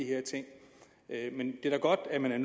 her ting men det er da godt at man er